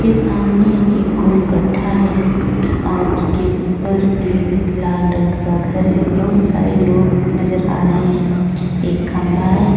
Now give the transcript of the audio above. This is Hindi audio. के सामने एक गोल गड्ढा है और उसके ऊपर एक लाल रंग का घर है बहुत सारे लोग नजर आ रहे हैं एक खंभा है।